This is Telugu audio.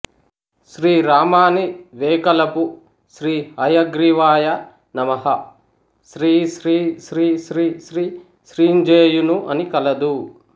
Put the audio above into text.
శ్రీరామానీ వేకలపూ శ్రీ హయగ్రీవాయ నమః శ్రీశ్రీశ్రీశ్రీశ్రీ శ్రీంజేయును అని కలదు